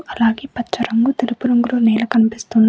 అలాగే పచ్చ రంగు తెలుపు రంగులో నేల కనిపిస్తుంది.